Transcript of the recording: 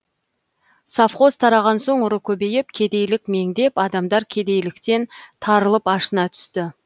совхоз тараған соң ұры көбейіп кедейлік меңдеп адамдар кедейліктен тарылып ашына түсті